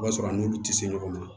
I b'a sɔrɔ a n'u tɛ se ɲɔgɔn ma